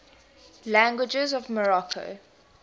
languages of morocco